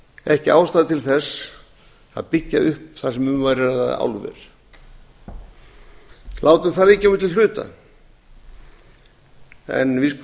ekki ástæða til þess að byggja upp þar sem um væri að ræða álver látum það liggja á milli hluta en við